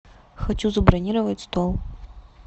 хочу забронировать стол